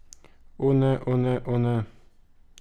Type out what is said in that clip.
O ne, o ne, o ne!